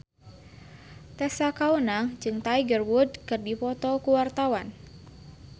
Tessa Kaunang jeung Tiger Wood keur dipoto ku wartawan